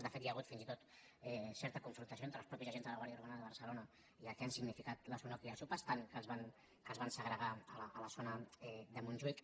de fet hi ha hagut fins i tot certa confrontació entre els mateixos agents de la guàrdia urbana de barcelona i el que han significat les unoc i les upas tant que es van segregar a la zona de montjuïc